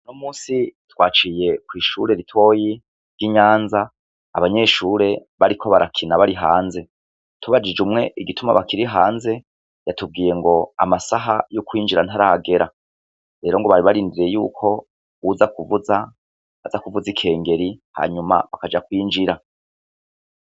Uno munsi twaciye kw'ishuri ritoyi ryi Nyanza abanyeshuri bariko barakina bari hanze tubajije umwe igituma bari hanze yatubwiye ngo amasaha yo kwinjira ntaragera rero ngo bari barindiriye yuko uwuza kuvuza azakuvuza ikingeri hanyuma bakaja kwinjira